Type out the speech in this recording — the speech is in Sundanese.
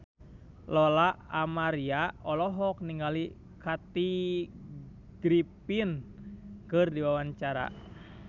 Lola Amaria olohok ningali Kathy Griffin keur diwawancara